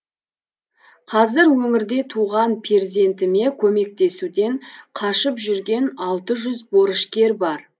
қазір өңірде туған перзентіне көмектесуден қашып жүрген алты жүз борышкер бар